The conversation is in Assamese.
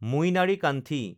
মুইনাৰিকান্ঠি